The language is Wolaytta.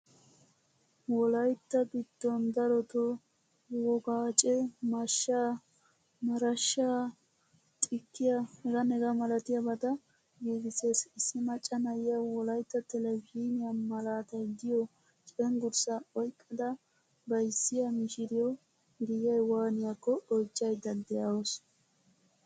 Wolaytta giddon darotto wogaacce mashshaa, marashshaa, xikkiyaa h.h.milattiyabata giigisees. Issi macca na'iyaa wolaytta televzhiniyaa malatay de'iyo cenggurssaa oyqqada bayzziyaa mishshiriyo giyay waaniyakko oychchayda deawusu.